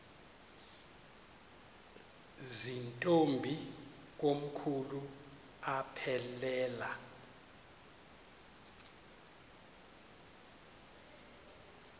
zirntombi komkhulu aphelela